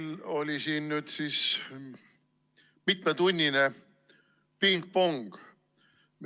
Meil oli siin nüüd siis mitmetunnine pingpong.